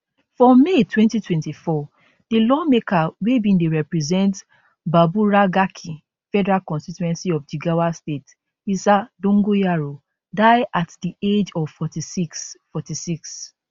for may 2024 di lawmaker wey bin dey represent baburagarki federal constituency of jigawa state isa dogonyaro die at di age of 46 46